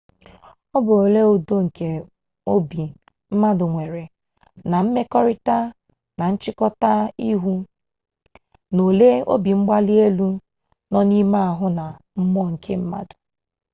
ọ bụ ole udo nke obi mmadụ nwere na-emekọrịta na nchịkọta ihu na ole obimgbalielu nọ n'ime ahụ na mmụọ nke mmadụ